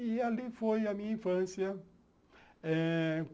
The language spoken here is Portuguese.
E ali foi a minha infância.